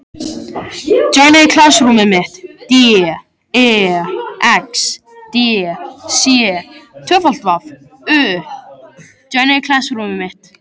Guð hvað hún er vitlaus, hugsaði Lóa Lóa.